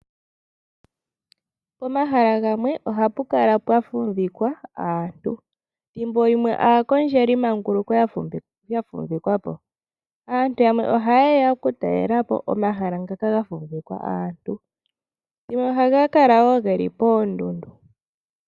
Pomahala gamwe ohapu kala pwa fumvikwa aaantu ethimbolimwe aakondjelimanguluko yafumvikwapo .Aantu yamwe ohayeya okutalelapo omahala ngoka ga fumvikwa aantu go haga kala woo geli poondundu.